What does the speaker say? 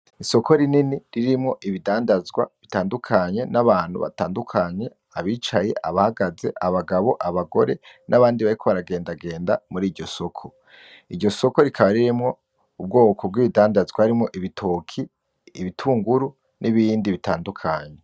Isoko rinini ririmwo ibidandanzwa bitandukanye n'abantu batandukanye, abicaye, abahagaze, abagabo , abagore n'abandi bariko baragendagenda muri iryo soko . Iryo soko rikaba ririmwo ubwoko bw'ibidandazwa harimwo ibitoke , ibitunguru n'ibindi bitandukanye .